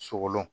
Sogolon